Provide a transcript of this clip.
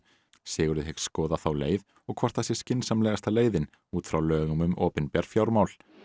Sigurður hyggst skoða þá leið og hvort það sé skynsamlegasta leiðin út frá lögum um opinber fjármál